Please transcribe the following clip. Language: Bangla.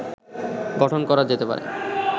গঠন করা যেতে পারে